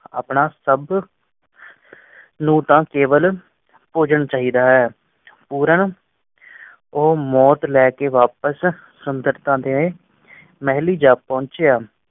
ਆਪਣਾ ਸਬ ਲਿਟਾ ਕ ਵੱਲ ਨੋਟਾਂ ਕੇਵਲ ਭੋਜਨ ਚਾਹੀਦਾ ਹੈ ਪੂਰਨ